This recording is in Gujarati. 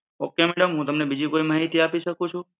okay madam, હું તમને બીજી કોઈ માહિતી આપી શકું છું?